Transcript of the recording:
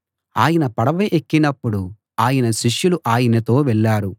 ఆయన పడవ ఎక్కినప్పుడు ఆయన శిష్యులు ఆయనతో వెళ్ళారు